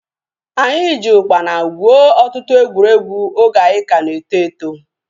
Anyị ji ukpana gwuo ọtụtụ egwuregwu oge anyị ka na-eto eto